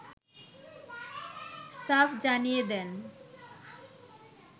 সাফ জানিয়ে দেন